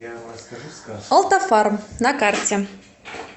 олтафарм на карте